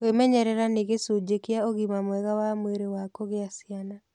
Kwĩmenyerera nĩ gĩcunjĩ kĩa ũgima mwega wa mwĩrĩ wa kũgĩa ciana.